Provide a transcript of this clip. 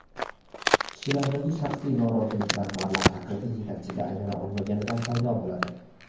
Kishilardagi shaxsiy norozilik rahbarlar haqiqiy yetakchiga aylana olmaganidan paydo bo‘ladi.